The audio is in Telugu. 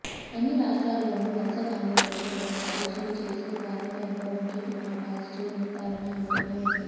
అన్ని రాష్ట్రాల్లోనూ వలస కార్మికులకు తగిన పరీక్షలు చేసి క్వారంటైన్లో ఉంచుతున్నా పాజిటివ్ నిర్ధారణ అవుతూనే ఉంది